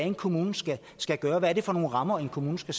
en kommune skal skal gøre hvad det er for nogle rammer en kommune skal